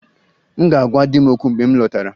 M ga-agwa di m okwu mgbe m lọtara